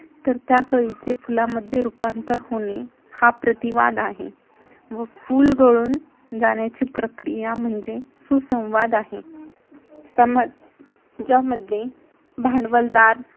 तर, त्या कळीचे फुलांमध्ये रूपांतर होणे हा प्रतिवाद आहे व फुल घडून जाण्याची प्रक्रिया म्हणजे सुसंवाद आहे. ज्यामध्ये भांडवलदार